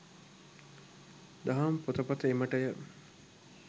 දහම් පොතපත එමටය.